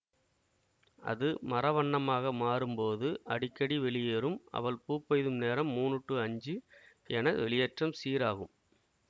அது மர வண்ணமாக மாறும்போது அடிக்கடி வெளியேறும் அவள் பூப்பெய்தும் நேரம் மூனு டு அஞ்சு என வெளியேற்றம் சீராகும்